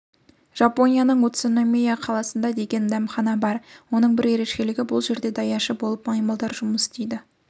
жапонияның уцуномия қаласында деген дәмхана бар оның бір ерекшелігі ол жерде даяшы болып маймылдар жұмыс істейді